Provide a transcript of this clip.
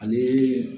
Ani